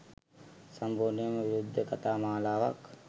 සම්පූර්ණයෙන්ම විරුද්ධ කථා මාලාවක්.